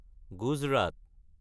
Gujarat